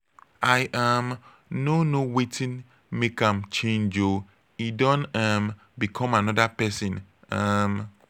i um no know wetin make am change oo e don um become another person um